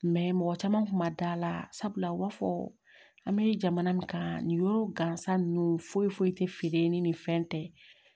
mɔgɔ caman kun ma da la sabula u b'a fɔ an bɛ jamana min kan nin yɔrɔ gansan ninnu fo foyi tɛ feere ni nin fɛn tɛ